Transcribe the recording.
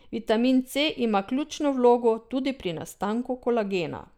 Vitamin C ima ključno vlogo tudi pri nastanku kolagena.